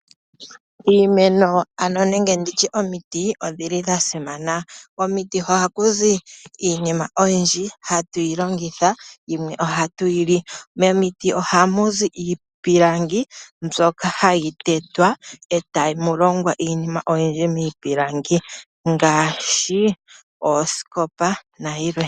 Iimeno nenge omiti odhili dha simana. Komiti ohaku zi iinima oyindji hayi longithwa, yimwe ohayi liwa. Momiti ohamu zi iipilangi mbyono hayi tetwa e tamu longwa iinima oyindji ngaashi, oosikopa, nosho tuu.